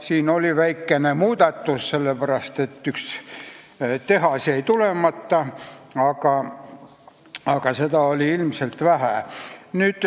Siin tuli väikene muudatus, sellepärast et üks tehas jäi tulemata, aga seda on ilmselt vähe.